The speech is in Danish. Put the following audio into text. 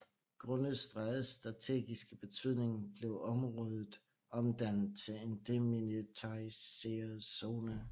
Grundet strædets strategiske betydning blev området omdannet til en demilitariseret zone